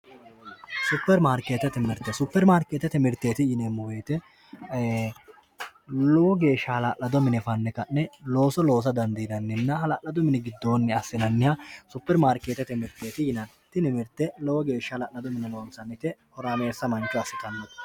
Supermarkeetete mirite supermarkeetete miritet yineemo woyte ee lowo geesha hala'lado mine fanne Ka'ne looso loosa dandiinannina hala'ladu mini gidooni Assianniha supermarkeetete mirteet yinanni Tini mirte lowo geesha hala'lado mine loonisannite lowo geesha horaamesa manicho assitano